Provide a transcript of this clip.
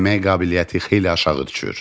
Əmək qabiliyyəti xeyli aşağı düşür.